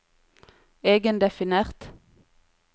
egendefinert